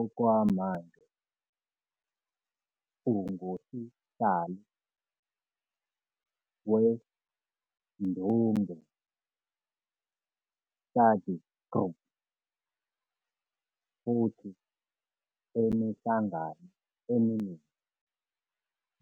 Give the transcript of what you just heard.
Okwamanje ungusihlalo we-Ndunge Study Group futhi emihlangano eminingi